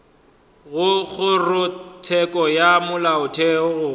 go kgorotsheko ya molaotheo gore